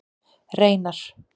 Reynar